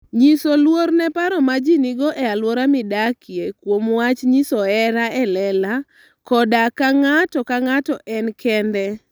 Nyis luor ne paro ma ji nigo e alwora midakie kuom wach nyiso hera e lela koda ka ng'ato ka ng'ato en kende.